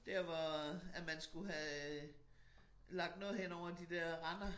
Der hvor at man skulle have øh lagt noget hen over de dér render